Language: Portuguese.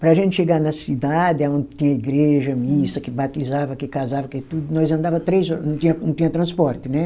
Para a gente chegar na cidade, aonde tinha igreja, missa, que batizava, que casava, que tudo, nós andava três horas, não tinha transporte, né?